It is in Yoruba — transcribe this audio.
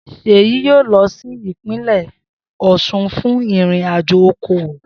Seyi yoo lo si ipinle Osun fun irin ajo okowo.